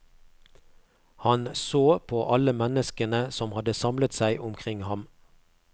Han så på alle menneskene som hadde samlet seg omkring ham.